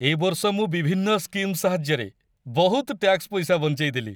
ଏ ବର୍ଷ ମୁଁ ବିଭିନ୍ନ ସ୍କିମ୍ ସାହାଯ୍ୟରେ ବହୁତ ଟ୍ୟାକ୍ସ ପଇସା ବଞ୍ଚେଇ ଦେଲି ।